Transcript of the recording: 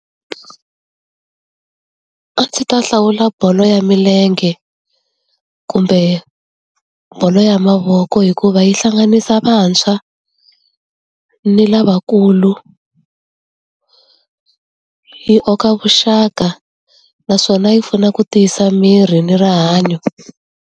A ndzi ta hlawula bolo ya milenge, kumbe bolo ya mavoko hikuva yi hlanganisa vantshwa, ni lavakulu, yi aka vuxaka. Naswona yi pfuna ku tiyisa miri ni rihanyo.